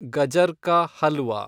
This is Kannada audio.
ಗಜರ್ ಕಾ ಹಲ್ವಾ